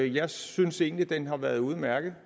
jeg synes egentlig at den har været udmærket